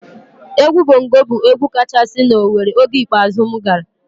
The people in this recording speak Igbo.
Egwu Bongo bụ egwu kachasị na Owere oge ikpeazụ m gara.